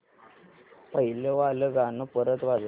पहिलं वालं गाणं परत वाजव